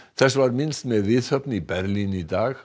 þess var minnst með viðhöfn í Berlín í dag